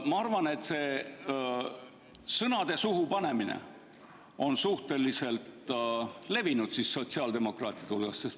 Ma arvan, et see sõnade suhu panemine on suhteliselt levinud sotsiaaldemokraatide hulgas.